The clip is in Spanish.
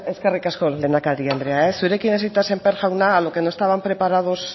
eskerrik asko lehendakari andrea zurekin hasita sémper jauna a lo que no estaban preparados